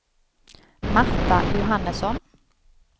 Marta Johannesson